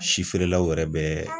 Si feerelaw yɛrɛ bɛ